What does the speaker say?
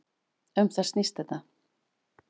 Um það snýst þetta.